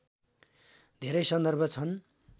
धेरै सन्दर्भ छन्